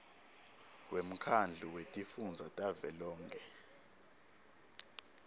wemkhandlu wetifundza tavelonkhe